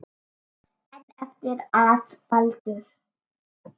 En eftir að Baldur.